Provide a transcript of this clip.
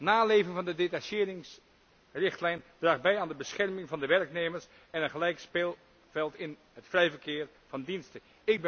Naleving van de detacheringsrichtlijn draagt bij aan de bescherming van de werknemers en een gelijk speelveld in het vrij verkeer van diensten.